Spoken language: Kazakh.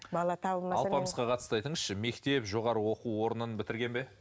бала алпамысқа қатысты айтыңызшы мектеп жоғарғы оқу орнын бітірген бе